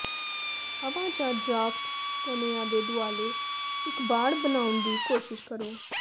ਹਵਾ ਜਾਂ ਡਰਾਫਟ ਕੈਨਆ ਦੇ ਦੁਆਲੇ ਇੱਕ ਵਾੜ ਬਣਾਉਣ ਦੀ ਕੋਸ਼ਿਸ਼ ਕਰੋ